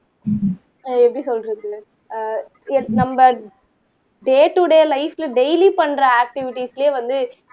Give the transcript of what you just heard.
எப்படி சொல்றது ah yes நம்ம டே டுடே லைப்ல டெய்லி பண்ற ஆக்ட்டிவிட்டிஸ்லயே வந்து